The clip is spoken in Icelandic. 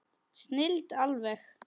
Snilld alveg!